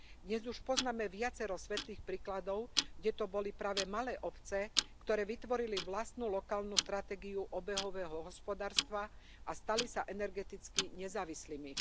Dnes už poznáme viacero svetlých príkladov, kde to boli práve malé obce, ktoré vytvorili vlastnú lokálnu stratégiu obehového hospodárstva a stali sa energeticky nezávislými.